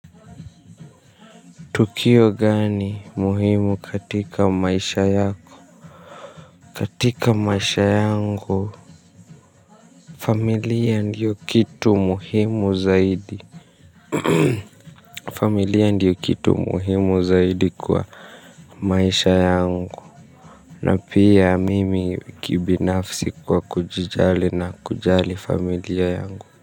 Tukio gani muhimu katika maisha yako? Katika maisha yangu, familia ndio kitu muhimu zaidi. Familia ndio kitu muhimu zaidi kwa maisha yangu. Na pia mimi kibinafsi kwa kujijali na kujali familia yangu.